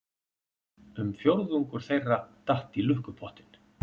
Um fjórðungur þeirra datt í lukkupottinn